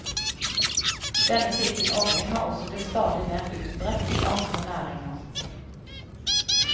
Denne type ordning har også blitt stadig mer utbredt i andre næringer.